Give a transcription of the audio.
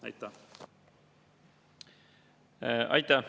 Aitäh!